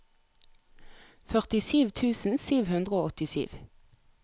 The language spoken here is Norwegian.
førtisju tusen sju hundre og åttisju